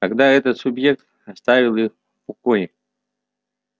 когда этот субъект оставит их в покое